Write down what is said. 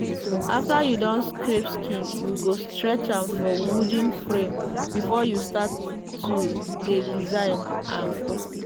after you don scrape skin you go stretch am for wooden frame before you start to dey design am.